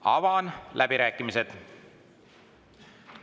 Avan läbirääkimised.